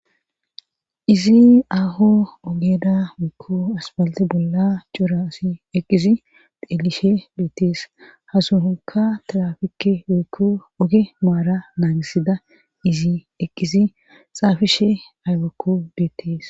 izi aho ogeda wekku aspalti bolla cora asi eqizi deelishe beettees hasuonka tirafike wekko oge maara naagisida izi ekizi xaafishe aywakko beettees